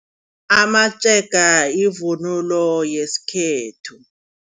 Amatshega yivunulo yesikhethu.